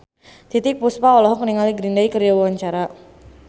Titiek Puspa olohok ningali Green Day keur diwawancara